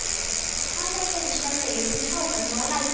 Hann talaði beinustu leið inn í hávaðann og lætin.